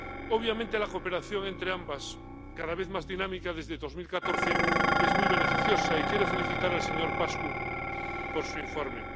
Obviamente, la cooperación entre ambas, cada vez más dinámica desde 2014, es muy beneficiosa, y quiero felicitar al señor Paşcu por su informe.